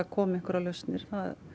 komi einhverjar lausnir